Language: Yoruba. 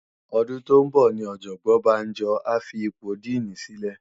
Òdún tó n bò ni òjòbòn Banjo á fi ipó dìní silè